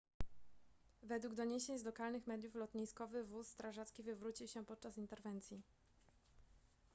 według doniesień z lokalnych mediów lotniskowy wóz strażacki wywrócił się podczas interwencji